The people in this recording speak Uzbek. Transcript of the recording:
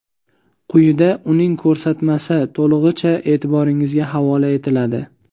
Quyida uning ko‘rsatmasi to‘lig‘icha e’tiboringizga havola etiladi.